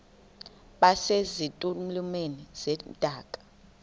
base zitulmeni zedaka